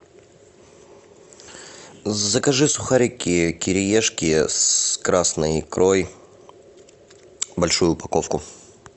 закажи сухарики кириешки с красной икрой большую упаковку